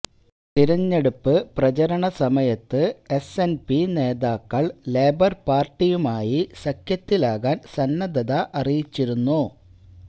തിരഞ്ഞെടുപ്പ് പ്രചാരണ സമയത്ത് എസ് എന് പി നേതാക്കള് ലേബര് പാര്ട്ടിയുമായി സഖ്യത്തിലാകാന് സന്നദ്ധത അറിയിച്ചിരുന്നു